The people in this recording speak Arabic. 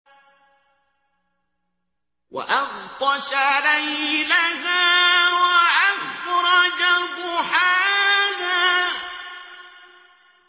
وَأَغْطَشَ لَيْلَهَا وَأَخْرَجَ ضُحَاهَا